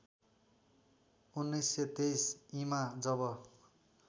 १९२३ ईमा जब